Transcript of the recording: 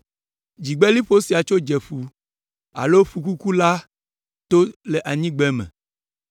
Dzieheliƒo sia tso Dzeƒu alo Ƒukuku la to le anyigbeme